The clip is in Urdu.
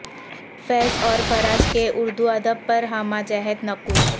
فیض اور فراز کے اردو ادب پر ہمہ جہت نقوش